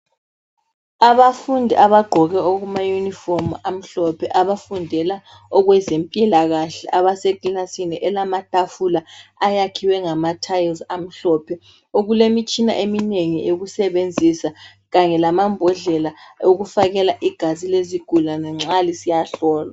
Abafundi abagqoke okuma uniform amhlophe abafundela okwezempilakahle abasekilasini elamatafula ayakhiwe ngama tiles amhlophe okulemitshina eminengi eyokusebenzisa kanye lamambhodlela okufakela igazi lezigulane nxa lisiyahlolwa